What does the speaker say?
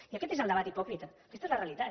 i aquest és el debat hipòcrita aquesta és la realitat